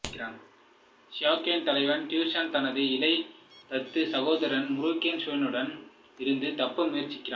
Xianbei தலைவன் Tuyuhun தனது இளைய தத்துச் சகோதரன் முரோங் ஹுயியிடம் இருந்து தப்ப முயற்சிக்கிறான்